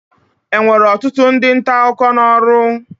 Enwere ọtụtụ ndị nta akụkọ n'ọrụ?